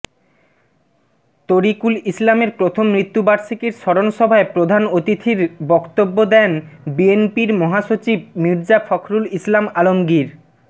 তরিকুল ইসলামের প্রথম মৃত্যুবার্ষিকীর স্মরণসভায় প্রধান অতিথির বক্তব্য দেন বিএনপির মহাসচিব মির্জা ফখরুল ইসলাম আলমগীর